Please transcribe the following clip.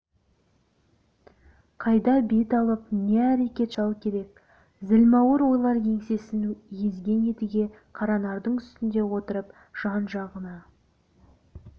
қайда бет алып не әрекет жасау керек зілмауыр ойлар еңсесін езген едіге қаранардың үстінде отырып жан-жағына